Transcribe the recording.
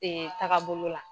Dee tagabolo la